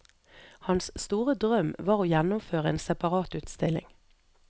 Hans store drøm var å gjennomføre en separatutstilling.